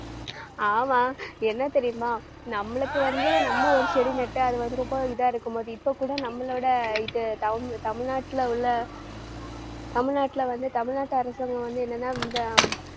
ஆமா என்ன தெரியுமா? நம்மளுக்கு வந்து நம்ம ஒரு செடி நட்டு அது வந்து ரொம்ப இதா இருக்கும்போது இப்ப கூட நம்மளோட இது தமிழ்~ தமிழ்நாட்டுல உள்ள தமிழ்நாட்டுல வந்து தமிழ்நாட்டு அரசாங்கம் வந்து என்னன்னா இந்த